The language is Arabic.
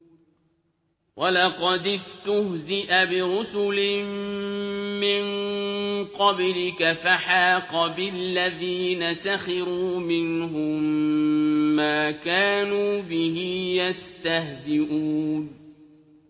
وَلَقَدِ اسْتُهْزِئَ بِرُسُلٍ مِّن قَبْلِكَ فَحَاقَ بِالَّذِينَ سَخِرُوا مِنْهُم مَّا كَانُوا بِهِ يَسْتَهْزِئُونَ